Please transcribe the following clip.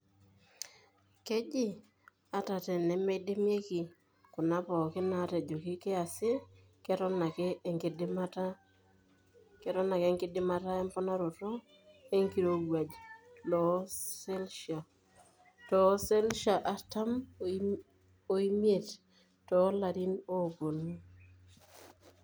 Keji ata teneidimieki kuna pookin naatejoki kiasi keton ake enkidimata emponaroto enkirowuaj too selshia artam omie toolarin oopuonu.